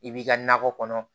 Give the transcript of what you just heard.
I b'i ka nakɔ kɔnɔ